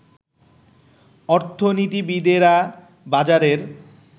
অর্থনীতিবিদেরা বাজারের